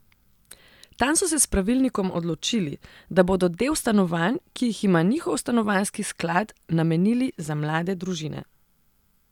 Tam so se s pravilnikom odločili, da bodo del stanovanj, ki jih ima njihov Stanovanjski sklad, namenili za mlade družine.